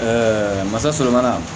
masa sɔrɔ mana